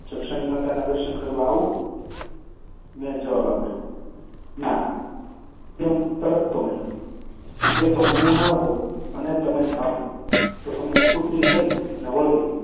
જક્ષણી માતાનાં દર્શન કરવા આવું? મેં જવાબ આપ્યૉ ના, એમ તો નહિ. એ તો હું ન હોઉં ને તમે જાઓ તો કૂતરી થઈને વળગે.